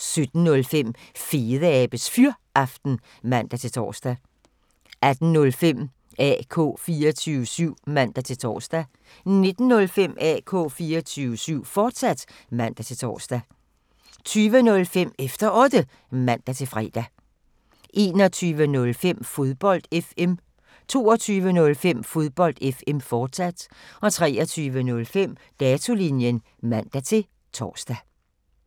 17:05: Fedeabes Fyraften (man-tor) 18:05: AK 24syv (man-tor) 19:05: AK 24syv, fortsat (man-tor) 20:05: Efter Otte (man-fre) 21:05: Fodbold FM 22:05: Fodbold FM, fortsat 23:05: Datolinjen (man-tor)